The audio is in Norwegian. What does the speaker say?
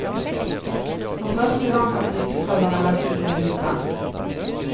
For første gang er sykefraværet lagt under lupen.